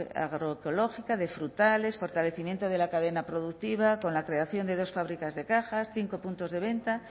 agroecológica de frutales fortalecimiento de la cadena productiva con la creación de dos fábricas de cajas cinco puntos de venta